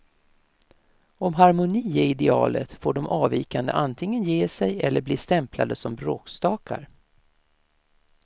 Om harmoni är idealet får de avvikande antingen ge sig eller bli stämplade som bråkstakar.